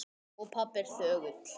Og pabbi er þögull.